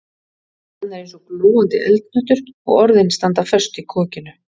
Hann er eins og glóandi eldhnöttur og orðin standa föst í kokinu.